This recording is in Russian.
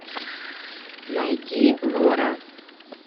найди лора